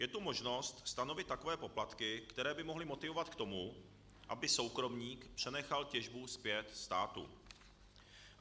Je tu možnost stanovit takové poplatky, které by mohly motivovat k tomu, aby soukromník přenechal těžbu zpět státu.